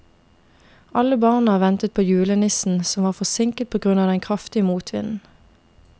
Alle barna ventet på julenissen, som var forsinket på grunn av den kraftige motvinden.